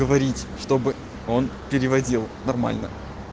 говорить чтобы он переводил нормально